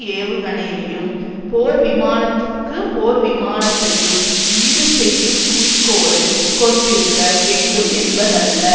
ஏவுகணையையும் போர்விமானத்துக்கு போர்விமானத்தையும் ஈடுசெய்யும்குறிக்கோளை கொண்டிருக்க வேண்டும்என்பதல்ல